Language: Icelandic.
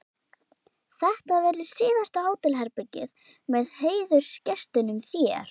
Þetta verður síðasta hótelherbergið með heiðursgestinum þér.